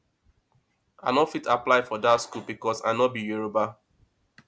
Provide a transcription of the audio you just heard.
i no fit apply for that school because i no be yoruba